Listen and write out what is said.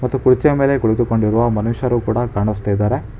ಮತ್ತು ಕುರ್ಚಿಯ ಮೇಲೆ ಕುಳಿತುಕೊಂಡಿರುವ ಮನುಷ್ಯರು ಕೂಡ ಕಾಣಿಸ್ತಿದ್ದಾರೆ.